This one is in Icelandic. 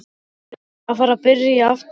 Við erum að fara að byrja aftur.